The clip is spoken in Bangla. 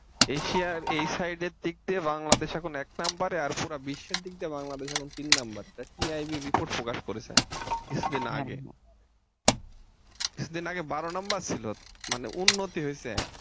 এশিয়ার এই side এর দিক দিয়ে বাংলাদেশ এখন এক number এ আর পুরা বিশ্বের দিক দিয়ে বাংলাদেশ এখন তিন number এ PIBreport প্রকাশ করেছে কিছুদিন আগে কিছুদিন আগে বারো নাম্বার ছিল মানে উন্নতি হয়েছে।